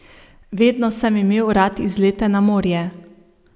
Vedno sem imel rad izlete na morje.